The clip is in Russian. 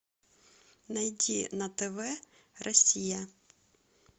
найди на тв россия